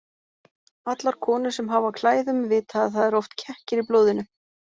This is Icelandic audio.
Allar konur sem hafa á klæðum vita að það eru oft kekkir í blóðinu.